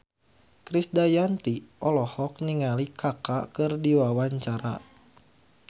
Krisdayanti olohok ningali Kaka keur diwawancara